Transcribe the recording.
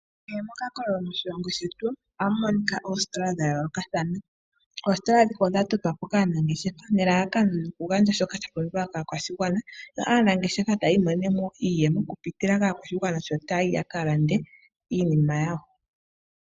Kehe mo kakololo moshilongo shetu ohamu monika oositola dha yoolokathana. Oositola ndhika odha totwa po kaanangeshefa ,nelalakano lyo ku gandja shoka sha pumbiwa kaakwashigwana ,yo aanangeshefa ta ya imoneneno iiyemo okupitila maakwashigwana sho taya yi ya ka lande iinima yawo.